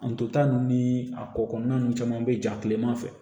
An to ta nun ni a ko kɔnɔna ninnu caman bɛ ja kileman fɛ